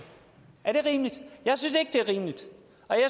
er det rimeligt jeg